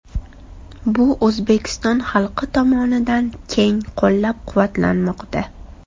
Bu O‘zbekiston xalqi tomonidan keng qo‘llab-quvvatlanmoqda.